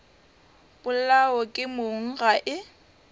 polawa ke mong ga e